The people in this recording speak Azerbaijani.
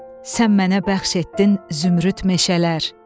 Sən mənə bəxş etdin zümrüd meşələr.